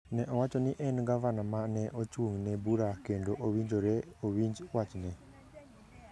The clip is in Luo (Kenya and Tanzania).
ne owacho ni en gavana ma ne ochung’ne bura kendo owinjore owinj wachne